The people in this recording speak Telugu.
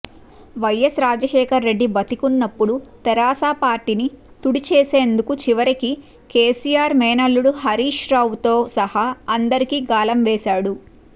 వైఎస్ రాజశేఖర్రెడ్డి బతికున్నప్పుడు తెరాస పార్టీని తుడిచేసేందుకు చివరికి కేసీఆర్ మేనళ్లుడు హరీష్రావుతో సహా అందరికీ గాలం వేశాడు